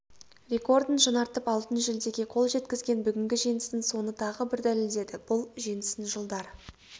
рекордын жаңартып алтын жүлдеге қол жеткізген бүгінгі жеңісің соны тағы бір дәлелдеді бұл жеңісің жылдар